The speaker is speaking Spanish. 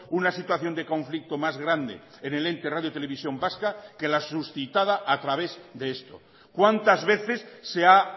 una situación de conflicto más grande en el ente radio televisión vasca que la suscitada a través de esto cuántas veces se ha